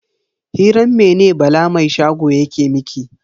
Hiran mene Bala mai shago yake miki?